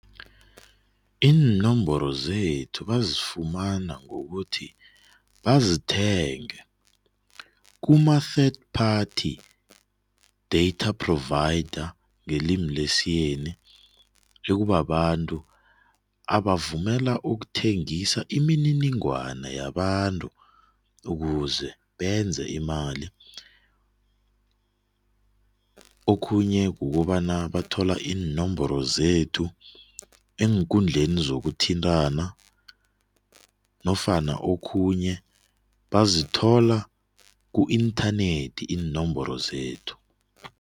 Iinomboro zethu bazifumana ngokuthi bazithenge kama-third party data provider ngelimi lesiyeni ekubabantu abavumela ukuthengisa imininingwana yabantu ukuze benze imali. Okhunye kukobana bathola iinomboro zethu eenkundleni zokuthintana nofana okhunye bazithola ku-inthanethi iinomboro zethu.